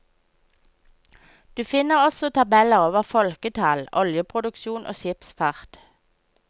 Du finner også tabeller over folketall, oljeproduksjon og skipsfart.